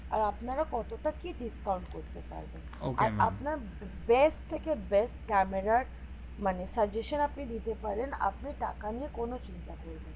আর আপনারা কত টা কি discount করতে পারবেন আপনার best থেকে best ক্যামেরার মানে suggestion আপনি দিতে পারেন আপনি টাকা নিয়ে কোন চিন্তা করবে